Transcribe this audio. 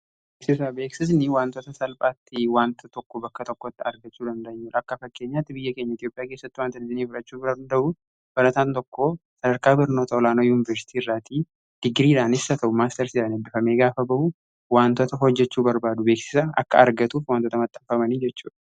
beeksisaa beeksisni waantoota salphaatti waanta tokko bakka tokkotti argachuu dandeenyuf akka fakkeenyaatti biyya keenya itiyophiyaa kessatti waanta lijinii firachuu bira duda'uu balataan tokko sadarkaa birnota olaanoo yuuniversitii irraatii digiriiraanissa ta'u maastarsi'aa dambifamee gaafa ba'u wantota hojjechuu barbaadu beeksisa akka argatuufi wantoota maxxaanfamanii jechuu da